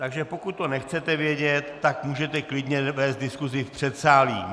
Takže pokud to nechcete vědět, tak můžete klidně vést diskusi v předsálí.